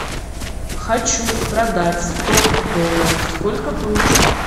хочу продать сто долларов сколько получу